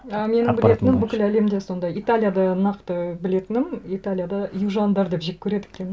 і менің білетінім бүкіл әлемде сондай италияда нақты білетінім италияда южандар деп жек көреді екен